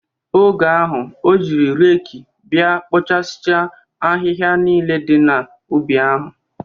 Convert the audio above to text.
Oge ahụ, o jiri reekị bịa kpoochasia ahịhịa niile dị n'ubi ya.